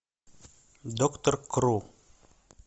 доктор кру